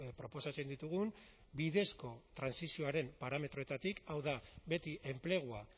proposatzen ditugun bidezko trantsizioaren parametroetatik hau da beti enplegua